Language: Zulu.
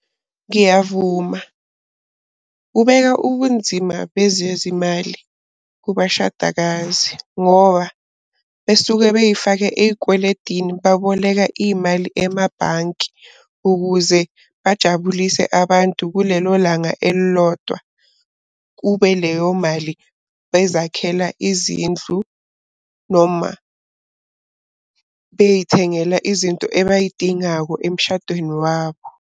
Ngiyavuma, kubeka ubunzima bezezimali kubashadakazi ngoba besuke bey'fake ey'kweledini baboleka iy'mali emabhanki ukuze bajabulise abantu kulelo langa elilodwa. Kube leyo mali bezakhela izindlu noma bey'thengela izinto ebay'dingako emshadweni wabo.